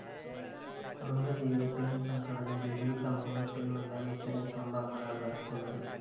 കുടുംബജീവിതത്തിലും സംഘടനകളിലും സമൂഹത്തിലുമെല്ലാം ഇത്തരം സംഭവങ്ങളാണ് നടക്കുന്നത്